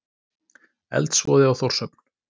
Eldsvoði á Þórshöfn